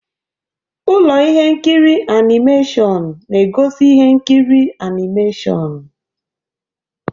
Ụlọ ihe nkiri animeshịon na-egosi ihe nkiri animeshịon.